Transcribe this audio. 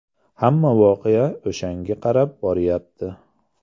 Hamma voqea o‘shanga qarab borayapti.